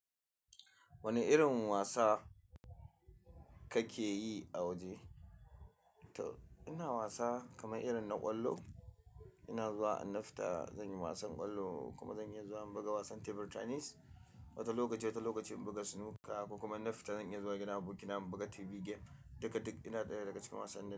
Wane irin wasa kake yi a waje? Ina wasa kamar irin na ƙwallo. Ina zuwa in na fita zan yi wasan ƙwallo kuma zan iya zuwa in buga wasan table tennis. Wata lokaci, wata lokaci in buga snooker ko kuma in na fita zan iya zuwa gidan aboki na in buga TV game. Duka duk ina ɗaya daga cikin wasannin nan.